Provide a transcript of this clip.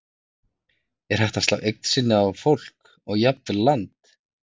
Er hægt að slá eign sinni á fólk og jafnvel land?